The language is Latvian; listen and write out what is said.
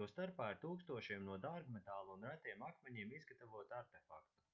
to starpā ir tūkstošiem no dārgmetāla un retiem akmeņiem izgatavotu artefaktu